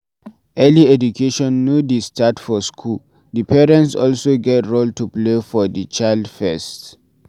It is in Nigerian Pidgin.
Early education no dey start for school, di parents also get role to play for di child first